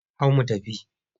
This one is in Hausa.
Hau mu tafi!